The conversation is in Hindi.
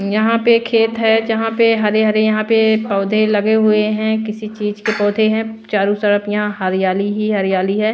यहां पे खेत है जहां पे हरे हरे यहां पे पौधे लगे हुए हैं किसी चीज के पौधे हैं चारों तरफ यहां हरियाली ही हरियाली है।